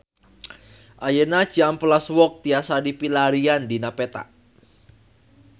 Ayeuna Cihampelas Walk tiasa dipilarian dina peta